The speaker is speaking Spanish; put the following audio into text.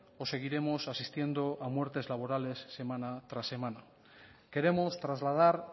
o seguiremos asistiendo a muertes laborales semana tras semana queremos trasladar